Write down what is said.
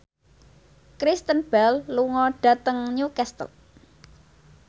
Kristen Bell lunga dhateng Newcastle